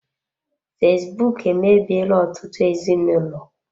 Fesbụụk emebiela ọtụtụ ezinụlọ.